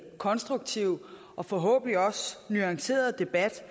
konstruktiv og forhåbentlig også nuanceret debat